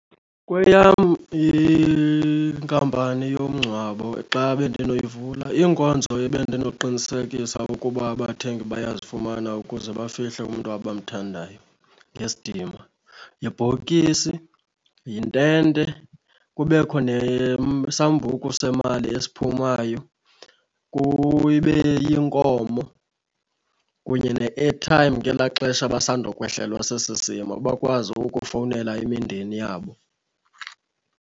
Kweyam inkampani yomngcwabo xa bendinoyivula iinkonzo ebendinoqinisekisa ukuba abathengi bayazifumana ukuze bafihle umntu abamthandayo ngesidima. Yibhokisi, yintente, kubekho sambuku semali esiphumayo, kube yinkomo kunye ne-airtime ngelaa xesha basandokwehlelwa sesi simo bakwazi ukufowunela imindeni yabo.